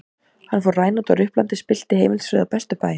Hann fór rænandi og ruplandi og spillti heimilisfriði á bestu bæjum.